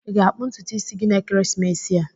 Ị ga-akpụ ntutu isi gi n'ekeresimesi a?